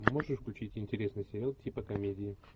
можешь включить интересный сериал типа комедии